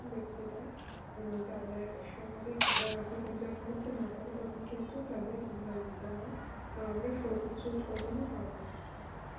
তাদের স্বাভাবিক আহ জীবন যাপন করতে না পারে তখন কিন্তু তাদের দ্বারা আমরা কিন্তু সর্বোচ্চ উৎপাদন পাবনা